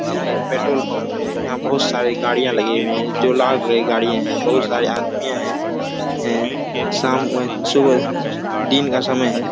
यहाँ एक petrol pump है यहाँ बहुत सारी गाड़िया लगी हुई है जो लाल कलर की गाड़िया है बहुत सारे आदमियां है हैं शाम ए सुबह दिन का समय है।